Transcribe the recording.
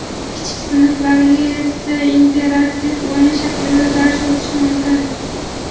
kichik sinflarga esa interaktiv o‘yin shaklida dars o‘tish mumkin.